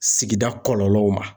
Sigida kɔlɔlɔw ma